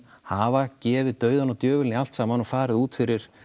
hafa gefið dauðann og djöfulinn í allt saman og farið út fyrir